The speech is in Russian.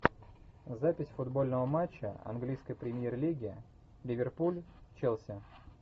запись футбольного матча английской премьер лиги ливерпуль челси